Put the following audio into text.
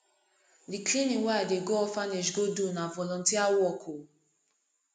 di cleaning wey i dey go orphanage go do na volunteer work o